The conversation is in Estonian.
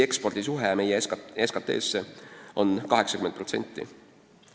Ekspordi osatähtsus meie SKT-s on 80%.